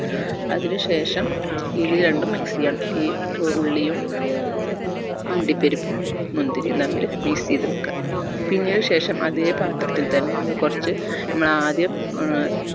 അതിന് ശേഷം ഇത് രണ്ടും mix ചെയ്യണം ഈ ഉള്ളിയും അണ്ടിപരിപ്പും മുന്തിരിയും തമ്മിൽ mix ചെയ്ത് വെക്ക പിന്നീട്‌ ശേഷം അതെ പാ ത്ത്തിൽ തന്നെ നമ്മൾ കൊർച്ച് നമ്മൾ ആദ്യം ഏർ